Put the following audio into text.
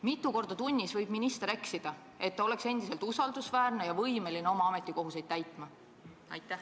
Mitu korda tunnis võib minister eksida, et ta oleks endiselt usaldusväärne ja võimeline oma ametikohustusi täitma?